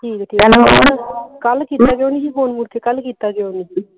ਠੀਕ ਕੱਲ ਕੀਤਾ ਕਿਉਂ ਨਹੀਂ ਸੀ ਫੋਨ ਮੁੜਕੇ ਕੱਲ ਕੀਤਾ ਕਿਉਂ ਨਹੀਂ ਸੀ